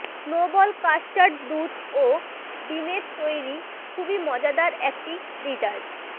snowball custard দুধ ও ডিমের তৈরি খুবই মজাদার একটি ডেজার্ট